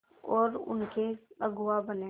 और उनके अगुआ बने